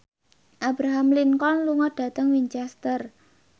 Abraham Lincoln lunga dhateng Winchester